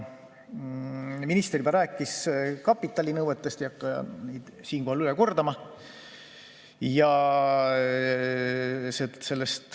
Minister juba rääkis kapitalinõuetest, ei hakka siinkohal üle kordama.